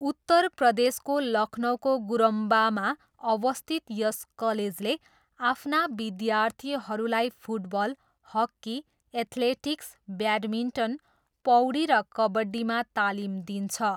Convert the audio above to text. उत्तर प्रदेशको लखनऊको गुरम्बामा अवस्थित यस कलेजले आफ्ना विद्यार्थीहरूलाई फुटबल, हक्की, एथ्लेटिक्स, ब्याडमिन्टन, पौडी र कबड्डीमा तालिम दिन्छ।